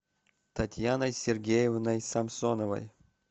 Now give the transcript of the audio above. татьяной сергеевной самсоновой